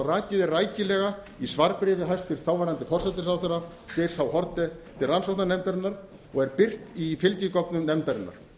rakið er rækilega í svarbréfi þáverandi hæstvirtur forsætisráðherra geirs h haarde til rannsóknarnefndarinnar og er birt í fylgigögnum nefndarinnar